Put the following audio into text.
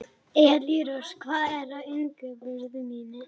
Elírós, hvað er á innkaupalistanum mínum?